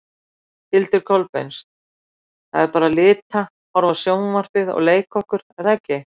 Hildur Kolbeins: Það er bara lita, horfa á sjónvarpið og leika okkur er það ekki?